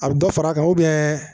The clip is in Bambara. A bɛ dɔ far'a kan